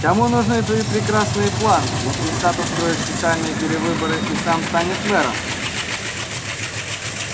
кому нужны твои прекрасные планы если сатт устроит специальные перевыборы и сам станет мэром